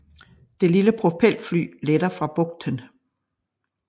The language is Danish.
Det lille propelfly letter fra bugten